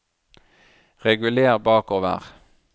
reguler bakover